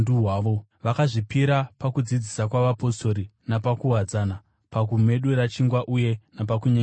Vakazvipira pakudzidzisa kwavapostori napakuwadzana, pakumedura chingwa uye napakunyengetera.